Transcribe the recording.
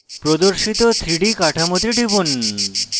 প্রদর্শিত 3d কাঠামোতে টিপুন